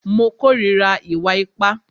Mo kòrira ìwà ipá.